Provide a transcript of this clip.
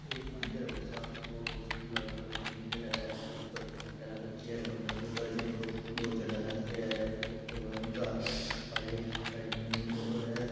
एक मंदिर बढ़ो सार को गुलाबी कलर काे मन्दिर है उपर झोपडिया लाग रखी है झोपडिया के उपर भी दो झण्डा लाग रख्या है और इनका एक साइड मे मंदिर और है।